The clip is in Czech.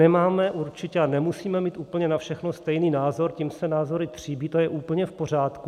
Nemáme určitě a nemusíme mít úplně na všechno stejný názor, tím se názory tříbí, to je úplně v pořádku.